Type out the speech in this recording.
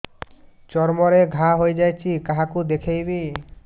ଚର୍ମ ରେ ଘା ହୋଇଯାଇଛି କାହାକୁ ଦେଖେଇବି